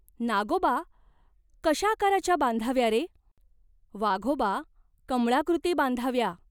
"नागोबा, कशा आकाराच्या बांधाव्या रे ?" "वाघोबा, कमळाकृती बांधाव्या.